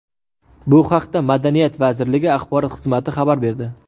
Bu haqda Madaniyat vazirligi axborot xizmati xabar berdi.